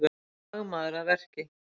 Fagmaður að verki